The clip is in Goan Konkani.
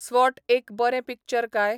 स्वॉट एक बरें पिक्चर काय?